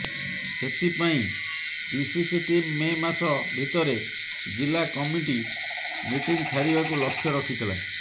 ସେଥିପାଇଁ PCC team May ମାସ ଭିତରେ ଜିଲ୍ଲା କମିଟି ମିଟିଂ ସାରିବାକୁ ଲକ୍ଷ୍ୟ ରଖିଥିଲା